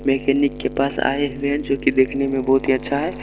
Mechanic के पास आए हुए हैं जो कि देखने में बहुत ही अच्छा है।